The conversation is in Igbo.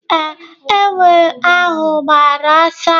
Ee, enwe ahụ gbara ọsọ.